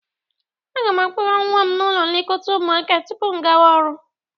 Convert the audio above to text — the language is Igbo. Aga m akpọga nwa m n'ụlọ nlekọta ụmụaka tupu m gawa ọrụ.